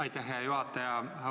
Aitäh, hea juhataja!